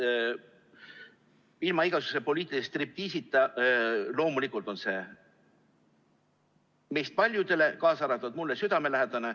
Ilma igasuguse poliitilise striptiisita: loomulikult on see meist paljudele, kaasa arvatud mulle, südamelähedane.